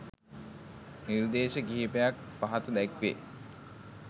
නිර්දේශ කිහිපයක්‌ පහත දැක්‌වේ